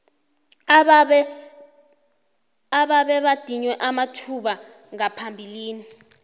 abebadinywe amathuba ngaphambilini